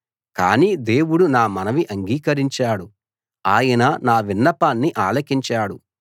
కానీ దేవుడు నా మనవి అంగీకరించాడు ఆయన నా విన్నపాన్ని ఆలకించాడు